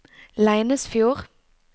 Leinesfjord